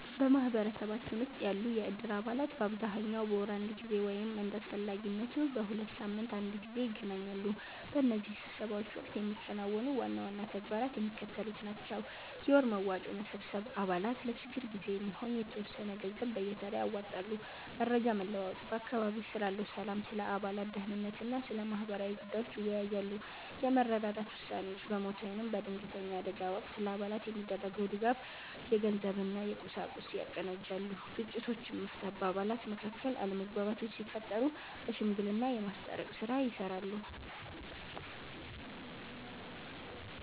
በማኅበረሰባችን ውስጥ ያሉ የእድር አባላት በአብዛኛው በወር አንድ ጊዜ ወይም እንደ አስፈላጊነቱ በሁለት ሳምንት አንድ ጊዜ ይገናኛሉ። በእነዚህ ስብሰባዎች ወቅት የሚከናወኑ ዋና ዋና ተግባራት የሚከተሉት ናቸው፦ የወር መዋጮ መሰብሰብ፦ አባላት ለችግር ጊዜ የሚሆን የተወሰነ ገንዘብ በየተራ ያዋጣሉ። መረጃ መለዋወጥ፦ በአካባቢው ስላለው ሰላም፣ ስለ አባላት ደኅንነት እና ስለ ማህበራዊ ጉዳዮች ይወያያሉ። የመረዳዳት ውሳኔዎች፦ በሞት ወይም በድንገተኛ አደጋ ወቅት ለአባላት የሚደረገውን ድጋፍ (የገንዘብ እና የቁሳቁስ) ያቀናጃሉ። ግጭቶችን መፍታት፦ በአባላት መካከል አለመግባባቶች ሲፈጠሩ በሽምግልና የማስታረቅ ሥራ ይሠራሉ።